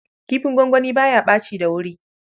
Kifin gongoni ba ya ɓaci da wuri.